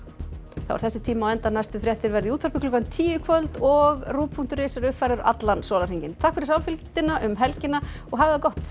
þá er þessu tími á enda næstu fréttir verða í útvarpi klukkan tíu í kvöld og punktur is er uppfærður allan sólarhringinn takk fyrir samfylgdina um helgina og hafið það gott